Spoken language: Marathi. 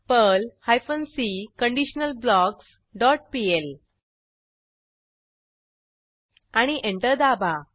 Perl hyphen C conditional blocks dot PL आणि एंटर दाबा